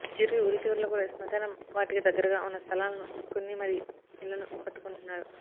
చివరికి ఊరి చివర్లో కూడా స్మశాన వాటిక దగ్గరగా ఉన్న స్థలాలను కొన్ని మరీ ఇళ్లను కట్టుకుంటున్నారు